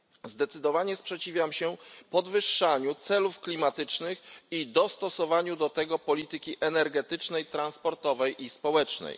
Zdecydowanie sprzeciwiam się podwyższaniu celów klimatycznych i dostosowaniu do tego polityki energetycznej, transportowej i społecznej.